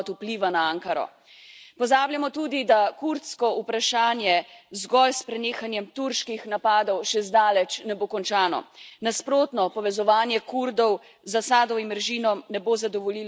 Pozabljamo tudi, da kurdsko vprašanje zgolj s prenehanjem turških napadov še zdaleč ne bo končano, nasprotno, povezovanje Kurdov z Asadovim režimom ne bo zadovoljilo njihovih aspiracij.